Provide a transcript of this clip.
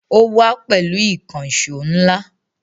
Ó wá pẹ̀lú ìkànṣọ́ ńlá